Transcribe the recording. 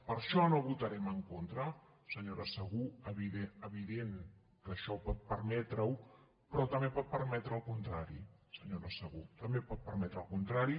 per això no votarem en contra senyora segú evident que això pot permetre ho però també pot permetre el contrari senyora segú també pot permetre el contrari